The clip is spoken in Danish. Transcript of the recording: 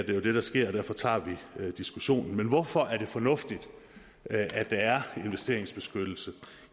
jo det der sker og derfor tager vi diskussionen men hvorfor er det fornuftigt at der er investeringsbeskyttelse